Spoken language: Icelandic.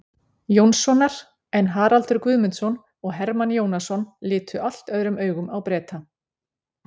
Jónssonar, en Haraldur Guðmundsson og Hermann Jónasson litu allt öðrum augum á Breta.